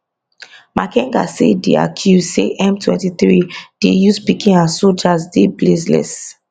makenga say di accuse say m twenty three dey use pikin as sojas dey baseless